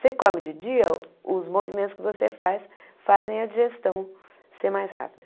Se come de dia, os movimentos que você faz fazem a digestão ser mais rápida.